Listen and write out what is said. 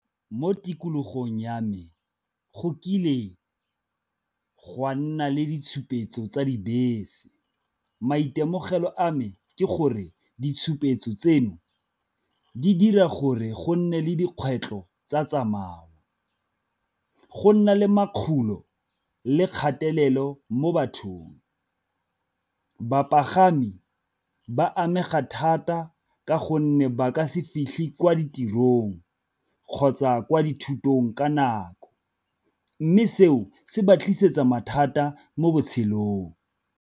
Mo tikologong ya me go kile gwa nna le ditshupetso tsa dibese, maitemogelo a me ke gore ditshupetso tseno di dira gore go nne le dikgwetlho tsa tsamao, go nna le le kgatelelo mo bathong. Bapagami ba amega thata ka gonne fa ba ka se fitlhe kwa ditirong kgotsa kwa dithutong ka nako, mme seo se ba tlisetsa mathata mo botshelong.